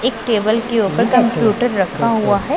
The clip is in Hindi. एक टेबल के ऊपर कंप्यूटर रखा हुआ हैं।